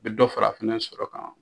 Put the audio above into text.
bɛ dɔ fara a fɛnɛ sɔrɔ kan.